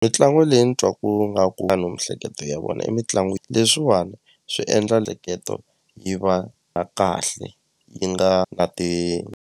Mitlangu leyi ni twaku nga ku miehleketo ya vona emitlangwini leswiwani swi endla yi va na kahle yi nga na .